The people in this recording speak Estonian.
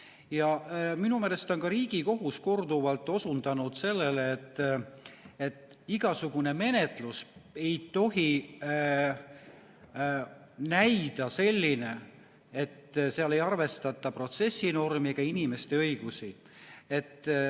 Ja minu meelest on ka Riigikohus korduvalt osundanud sellele, et igasugune menetlus ei tohi näida selline, et seal ei arvestata protsessinormi ega inimeste õigusi.